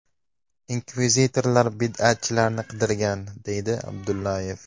Inkvizitorlar bid’atchilarni qidirgan”, deydi Abdullayev.